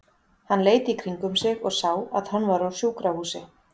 Hann leit í kringum sig og sá að hann var á sjúkrahúsi.